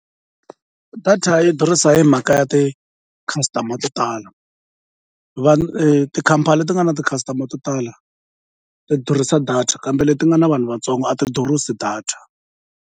Data yi durhisa hi mhaka ya ti-customer to tala tikhampani leti nga na ti-customer to tala ti durhisa data kambe leti nga na vanhu vatsongo a ti durhisi data.